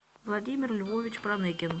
владимир львович проныкин